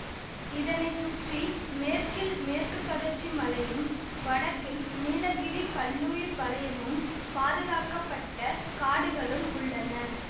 இதனை சுற்றி மேற்கில் மேற்கு தொடர்ச்சி மலையும் வடக்கில் நீலகிரி பல்லுயிர் வலயமும் பாதுகாக்கப்பட்டக் காடுகளும் உள்ளன